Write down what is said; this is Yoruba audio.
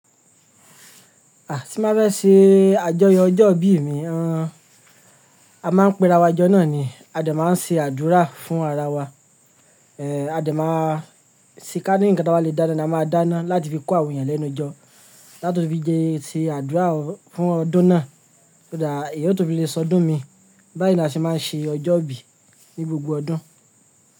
À, tí n bá fẹ́ ṣe àjọyọ̀ ọjọ́ ìbí mi, a máa ń pe ara wa jọ náà ni a dẹ̀ máa ń ṣe àdúrà fún ara wa. Eh, a dẹ̀ máa ṣe kí á ní nǹkan tí a bá lè dáná ni a máa dáná láti fi kó àwọn èèyàn lẹ́nu jọ. Láti fi jẹ́ ti àdúrà fún ọdún náà, ó dàá èèyàn ó tún fi lè sọdún mi. Báyìí ni a ṣe máa ń ṣe ọjọ́ ìbí ní gbogbo ọdún.